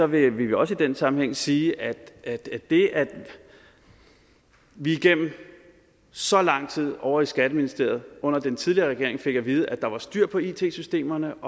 vil vi også i den sammenhæng sige at at det at vi igennem så lang tid ovre i skatteministeriet under den tidligere regering fik at vide at der var styr på it systemerne